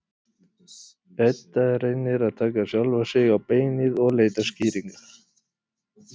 Edda reynir að taka sjálfa sig á beinið og leita skýringa.